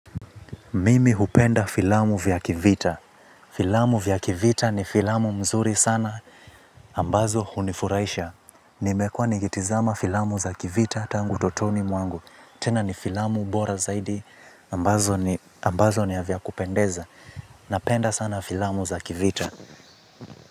Mimi hupenda filamu vya kivita. Filamu vya kivita ni filamu nzuri sana. Ambazo hunifurahisha. Nimekuwa nikitazama filamu za kivita tangu utotoni mwangu. Tena ni filamu bora zaidi ambazo ni ambazo ni vya kupendeza. Napenda sana filamu za kivita.